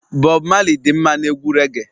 Bob Marley dị mma na egwu reage